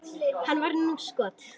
Hann varði níu skot.